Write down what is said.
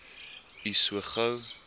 u so gou